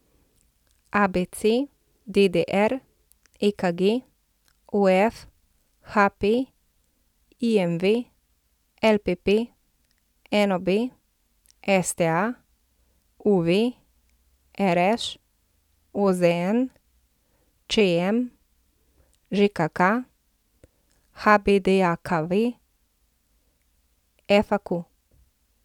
ABC, DDR, EKG, OF, HP, IMV, LPP, NOB, STA, UV, RŠ, OZN, ČM, ŽKK, HBDJKV, FAQ.